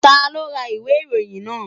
Ta ló ra ìwé ìròyìn náà?